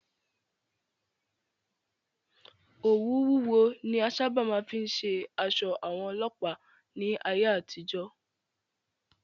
Òwú wúwo ni a sáábà máa fí ń ṣe aṣọ àwọn Ọlọ́pàá ní ayé àtijọ́.